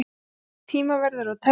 Þið verðið tímaverðir og teljið.